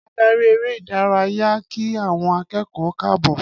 Adarí eré ìdárayá ki awọn akékòó káàbò